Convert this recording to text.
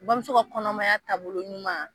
Bamuso ka kɔnɔmaya taabolo ɲuman